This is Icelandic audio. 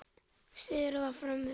Syðra var fremur þurrt.